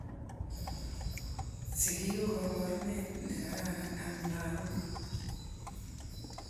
Sikik ku kaporunee nikararan om lakoik.